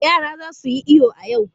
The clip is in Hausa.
Yara za su yi iyo a yau.